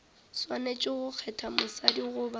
swanetše go kgetha mosadi goba